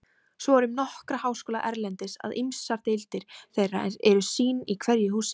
Svo er um nokkra háskóla erlendis, að ýmsar deildir þeirra eru sín í hverju húsi.